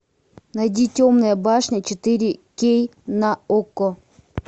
найди темная башня четыре кей на окко